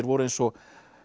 voru eins og